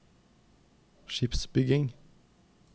skipsbygging